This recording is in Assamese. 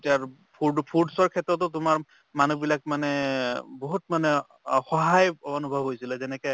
যাৰ food foods ৰ ক্ষেত্ৰতো তোমাৰ মানুহ বিলাক মানে বহুত মানে অসহায় অনুভৱ গৈছিলে যেনেকে